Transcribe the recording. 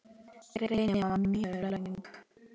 Greinin var mjög löng.